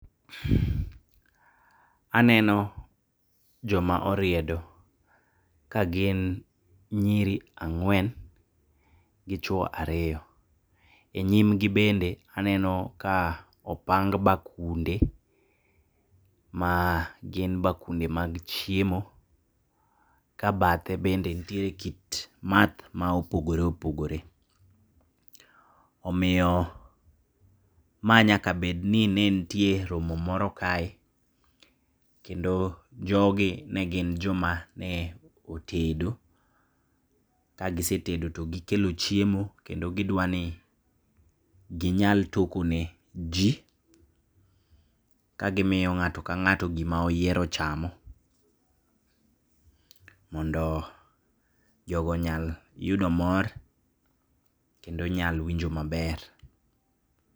Aneno joma oriedo kagin nyiri ang'wen gi chwo ariyo. E nyimgi bende aneno ka opang bakunde magin bakunde mag chiemo, kabadhe bende ntiere kit madh maopogore opogore. Omiyo ma nyaka bedni nentie romo moro kae ,kendo jogi negin joma neotedo kagisetedo to gikelo chiemo kendo gidwani ginyal tokone jii kagimiyo ng'ato kang'ato gima oyiero chamo, mondo jogo onyal yudo mor, kendo onyal winjo maber.